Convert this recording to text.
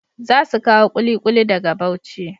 Za su kawo ƙuliƙuli daga Bauchi.